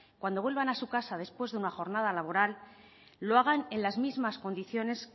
cuando vuelvan a su casa después de una jornada laboral lo hagan en las mismas condiciones